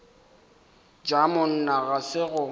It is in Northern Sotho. ja monna ga se go